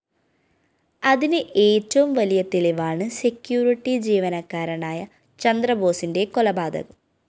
അതിന് ഏറ്റവും വലിയ തെളിവാണ് സെക്യൂരിറ്റി ജീവനക്കാരനായ ചന്ദ്രബോസിന്റെ കൊലപാതകം